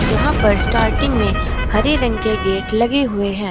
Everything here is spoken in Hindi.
यहां पर स्टार्टिंग में हरे रंग के गेट लगे हुए हैं।